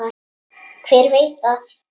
Hver veit það?